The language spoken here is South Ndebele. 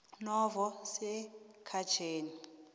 novo sekhtjheni